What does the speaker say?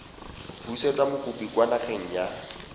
busetsa mokopi kwa nageng ya